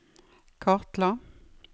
kartla